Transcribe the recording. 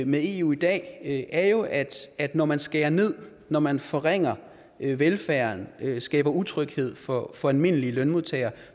med eu i dag er jo at når man skærer ned når man forringer velfærden skaber utryghed for for almindelige lønmodtagere